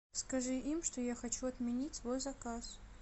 скажи им что я хочу отменить свой заказ